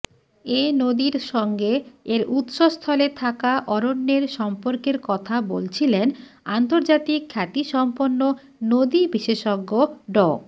এ নদীর সঙ্গে এর উৎস্থলে থাকা অরণ্যের সম্পর্কের কথা বলছিলেন আন্তর্জাতিক খ্যাতিসম্পন্ন নদী বিশেসজ্ঞ ড